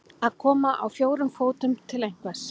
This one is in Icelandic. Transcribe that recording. Að koma á fjórum fótum til einhvers